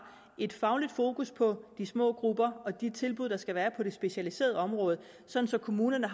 et fagligt fokus på de små grupper og de tilbud der skal være på det specialiserede område sådan at kommunerne